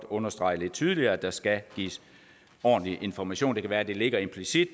understrege lidt tydeligere at der skal gives ordentlig information det kan være at det ligger implicit